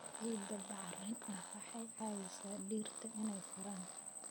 Ciidda bacrin ah waxay caawisaa dhirta inay koraan.